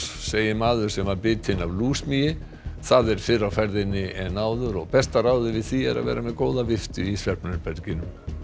segir maður sem var bitinn af það er fyrr á ferðinni en áður og besta ráðið við því er að vera með góða í svefnherberginu